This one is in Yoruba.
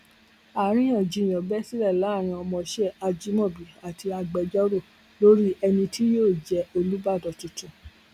àríyànjiyàn bẹ sílẹ láàrin ọmọọṣẹ ajimobi àti agbẹjọrò lórí ẹni tí yóò jẹ olùbàdàn tuntun